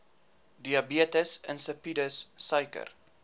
diabetes insipidus suiker